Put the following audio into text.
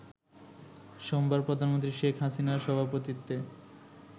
সোমবার প্রধানমন্ত্রী শেখ হাসিনার সভাপতিত্বে